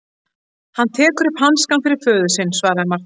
Hann tekur upp hanskann fyrir föður sinn, svaraði Marteinn.